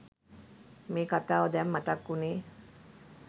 මේ කතාව දැන් මතක් උනේ?